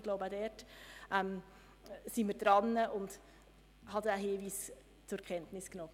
Ich glaube aber, dass wir daran sind, und ich habe den Hinweis zur Kenntnis genommen.